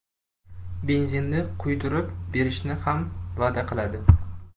Benzinini quydirib berishni ham va’da qiladi.